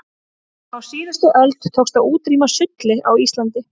á síðustu öld tókst að útrýma sulli á íslandi